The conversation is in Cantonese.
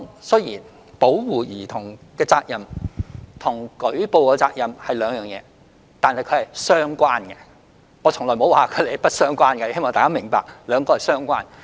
雖然保護兒童的責任和舉報責任是兩回事，但兩者是相關的；我從沒說過它們不相關，希望大家明白，兩者是相關的。